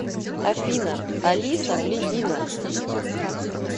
афина алиса блядина